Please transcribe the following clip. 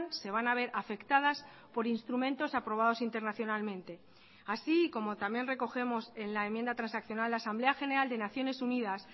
se van a ver afectadas por instrumentos aprobados internacionalmente así y como también recogemos en la enmienda transaccional la asamblea general de naciones unidas